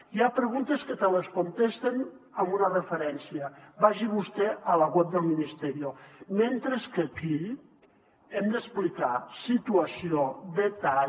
i hi ha preguntes que te les contesten amb una referència vagi vostè a la web del ministerio mentre que aquí hem d’explicar situació detall